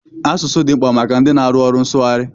Asụsụ dị mkpa maka ndị na-arụ ọrụ nsụgharị.